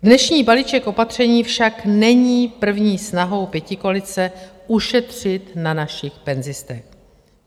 Dnešní balíček opatření však není první snahou pětikoalice ušetřit na našich penzistech.